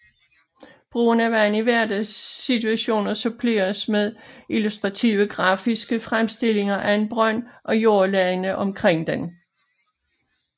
Brugen af vand i hverdagssituationer suppleres med illustrative grafiske fremstillinger af en brønd og jordlagene omkring den